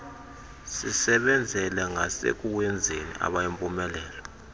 sisebenzele ngasekuwenzeni abeyimpumelelo